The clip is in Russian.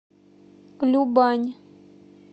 любань